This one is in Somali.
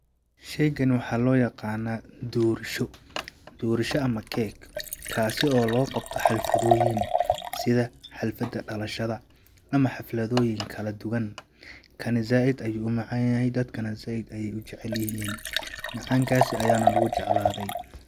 Sheygani waxaa loo yaqanaa doorsho ,doorsho ama cake kaasi oo loo qabto xalfadooyin ,sida xalfada dhalashada ,ama xafladooyin kala duwan ,kani zaaid ayuu u macaan yahay dadkana zaaid ayeey u jacel yihiin ,macaan kaasi ayaana lagu jeclaaday.